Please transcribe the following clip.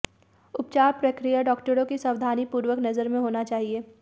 उपचार प्रक्रिया डॉक्टरों की सावधानीपूर्वक नजर में होना चाहिए